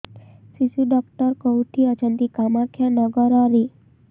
ଶିଶୁ ଡକ୍ଟର କୋଉଠି ଅଛନ୍ତି କାମାକ୍ଷାନଗରରେ